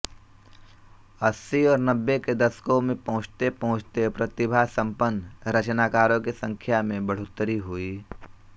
अस्सी और नब्बे के दशकों में पहुँचतेपहुँचते प्रतिभासम्पन्न रचनाकारों की संख्या में बढ़ोत्तरी हुई